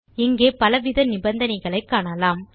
இங்கே பலவித நிபந்தனைகளை காணலாம்